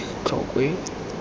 tlokwe